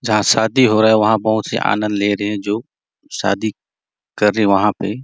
जहाँ शादी हो रहा है वहाँ बहुत से आनंद ले रहै है जो शादी कर रहै है वहाँ पे --